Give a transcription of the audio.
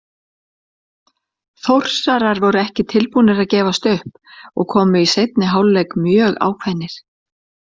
Þórsarar voru ekki tilbúnir að gefast upp og komu í seinni hálfleik mjög ákveðnir.